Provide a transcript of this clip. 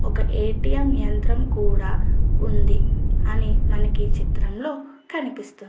ఒక ఏ.టీ.మ్ యంత్రం కూడా ఉంది అని మనకి చిత్రం లో కనిపిస్తుంది.